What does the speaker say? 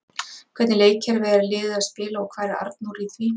Hvernig leikkerfi er liðið að spila og hvar er Arnór í því?